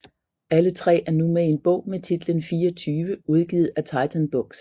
Alle tre er nu med i en bog med titlen 24 udgivet af Titan Books